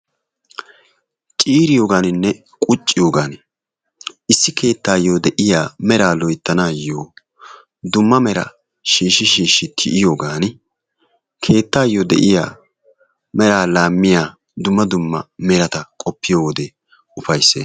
Ciiriyaaganinne qucciyoogan issi keettaayoo de'iyaa meraa loyttanayoo dumma meraa shiishi tiyiyoogani keettayoo de'iyaa meraa laammiyaa dumma dumma merata qoppiyoode ufayssees.